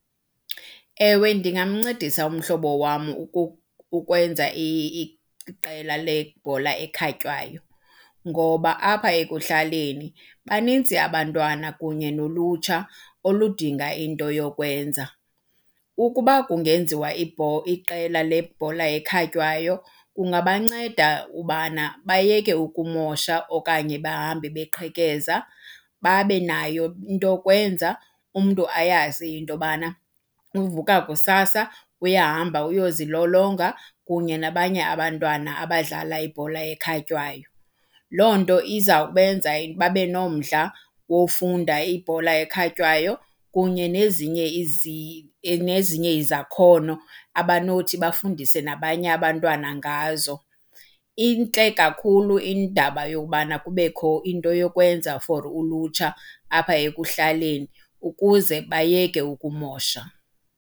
Ewe, ndingamncedisa umhlobo wam ukwenza iqela lebhola ekhatywayo ngoba apha ekuhlaleni banintsi abantwana kunye nolutsha oludinga into yokwenza. Ukuba kungenziwa iqela lebhola ekhatywayo kungabanceda ubana bayeke ukumosha okanye bahambe beqhekeza, babe nayo into yokwenza. Umntu ayazi into yobana uvuka kusasa uyahamba uyozilolonga kunye nabanye abantwana abadlala ibhola ekhatywayo. Loo nto izawubenza babe nomdla wofunda ibhola ekhatywayo kunye nezinye nezinye izakhono abanothi bafundise nabanye abantwana ngazo. Intle kakhulu indaba yokubana kubekho into yokwenza for ulutsha apha ekuhlaleni ukuze bayeke ukumosha.